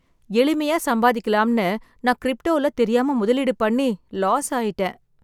எளிமையா சம்பாதிக்கலாம்னு நான் கிரிப்டோல தெரியாம முதலீடு பண்ணி, லாஸ் ஆயிட்டேன்